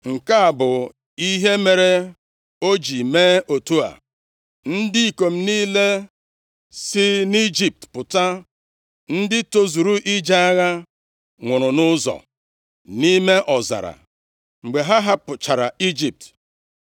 Nke a bụ ihe mere o ji mee otu a: Ndị ikom niile si nʼIjipt pụta, ndị tozuru ije agha, nwụrụ nʼụzọ, nʼime ọzara, mgbe ha hapụchara Ijipt.